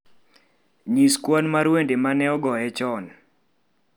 nyis kwan mar wende ma ne ogoye chon